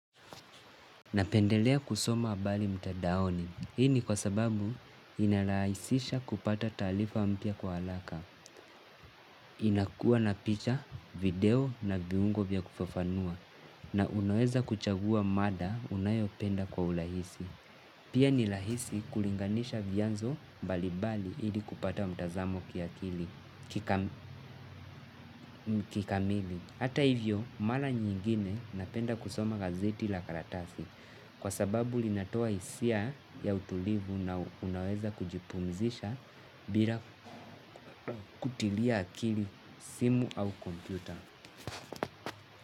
Napendelea kusoma habari mtadaoni, hii ni kwa sababu inarahisisha kupata taarifa mpya kwa haraka, inakuwa na picha, video na viungo vya kufafanua, na unaweza kuchagua mada unayopenda kwa urahisi. Pia ni rahisi kulinganisha vianzo mbalimbali ili kupata mtazamo kikamili. Hata hivyo, mara nyingine napenda kusoma gazeti la karatasi. Kwa sababu linatoa hisia ya utulivu na unaweza kujipumzisha bila kutilia akili simu au kompyuta.